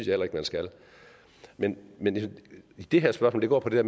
heller ikke man skal men men det her spørgsmål går på det